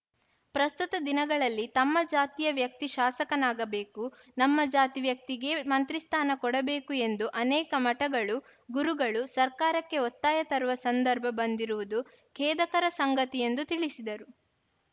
ಪ್ರಸ್ತುತ ದಿನಗಳಲ್ಲಿ ತಮ್ಮ ಜಾತಿಯ ವ್ಯಕ್ತಿ ಶಾಸಕನಾಗಬೇಕು ನಮ್ಮ ಜಾತಿ ವ್ಯಕ್ತಿಗೇ ಮಂತ್ರಿಸ್ಥಾನ ಕೊಡಬೇಕು ಎಂದು ಅನೇಕ ಮಠಗಳು ಗುರುಗಳು ಸರ್ಕಾರಕ್ಕೆ ಒತ್ತಾಯ ತರುವ ಸಂದರ್ಭ ಬಂದಿರುವುದು ಖೇದಕರ ಸಂಗತಿ ಎಂದು ತಿಳಿಸಿದರು